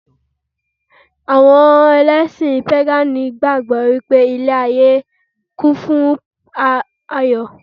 Àwọn Ẹlẹ́sìn pégànì gbàgbọ́ pé ilé-ayé kún fún Ayọ̀